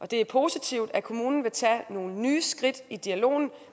det er positivt at kommunen vil tage nogle nye skridt i dialogen